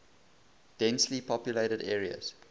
densely populated areas